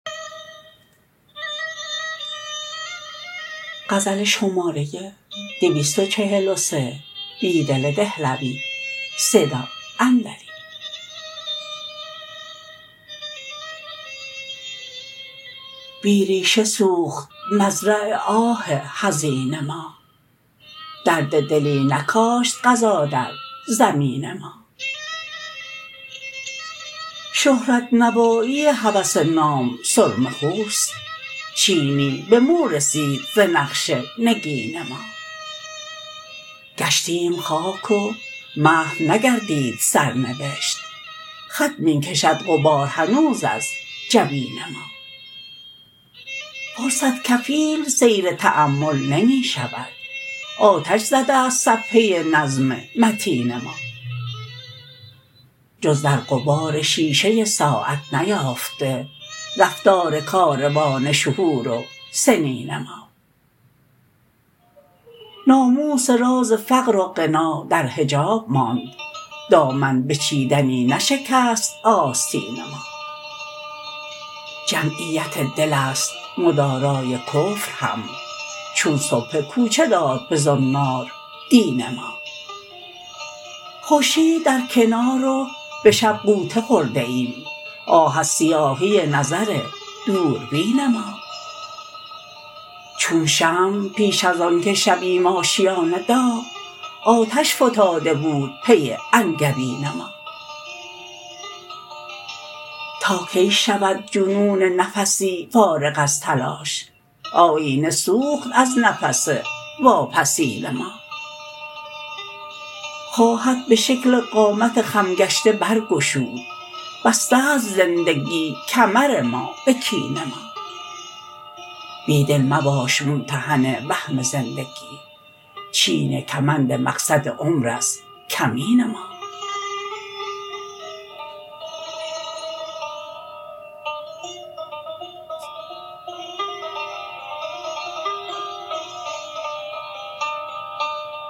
بی ربشه سوخت مزرع آه حزین ما درد دلی نکاشت قضا در زمین ما شهرت نوایی هوس نام سرمه خوست چینی به مورسید زنقش نگین ما گشتیم خاک و محو نگردید سرنوشت خط می کشد غبار هنوز از جبین ما فرصت کفیل سیر تأمل نمی شود آتش زده ست صفحه نظم متین ما جز در غبار شیشه ساعت نیافته رفتارکاروان شهور و سنین ما ناموس راز فقر و غنا در حجاب ماند دامن به چیدنی نشکست آستین ما جمعیت دل است مدارای کفر هم چون سبحه کوچه داد به زنار دین ما خورشید درکنار و به شب غوطه خورده ایم آه از سیاهی نظر دوربین ما چون شمع پیش ازآن که شویم آشیان داغ آتش فتاده بود پسی انگبین ما تاکی شود جنون نفسی فارغ ازتلاش آیینه سوخت از نفس واپسین ما خواهد به شکل قامت خم گشته برگشود بسته ست زندگی کمر ما به کین ما بیدل مباش ممتحن وهم زندگی چین کمند مقصد عمر ازکمین ما